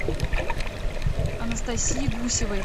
анастасии гусевой